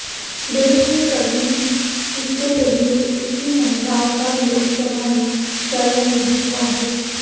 देश में कभी भी इससे पहले इतनी महिलाओं का लोकसभा में चयन नहीं हुआ है